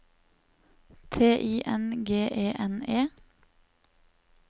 T I N G E N E